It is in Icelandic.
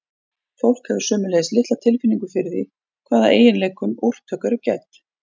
fólk hefur sömuleiðis litla tilfinningu fyrir því hvaða eiginleikum úrtök eru gædd